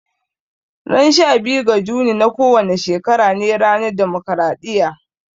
Ran sha biyu ga Juni na kowane shekara ne ranar demokaraɗiya